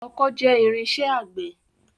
Ọkọ́ jẹ́ irinṣẹ́ àgbẹ̀.